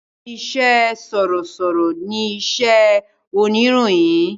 Ìṣe sọ̀rọ̀sọ̀rọ̀ ni iṣẹ́ oníròyìn